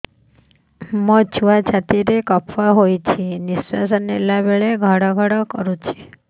ମୋ ଛୁଆ ଛାତି ରେ କଫ ହୋଇଛି ନିଶ୍ୱାସ ନେଲା ବେଳେ ଘଡ ଘଡ କରୁଛି